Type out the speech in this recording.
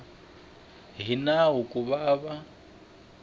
hi nawu ku va va